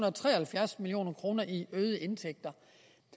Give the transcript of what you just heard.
og tre og halvfjerds million kroner i øgede indtægter